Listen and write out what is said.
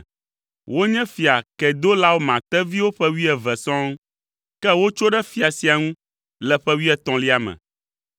Wonye Fia Kedolaoma teviwo ƒe wuieve sɔŋ, ke wotso ɖe fia sia ŋu le ƒe wuietɔ̃lia me.